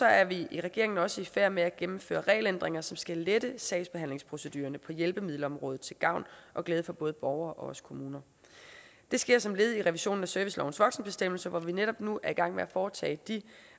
er vi i regeringen også i færd med at gennemføre regelændringer som skal lette sagsbehandlingsprocedurerne på hjælpemiddelområdet til gavn og glæde for både borgere og kommuner det sker som led i revisionen af servicelovens voksenbestemmelse hvor vi netop nu er i gang med at foretage de